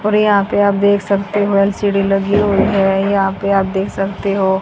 यहां पर आप देख सकते हो ल_सी_डी लगी हुई है यहां पर आप देख सकते हो--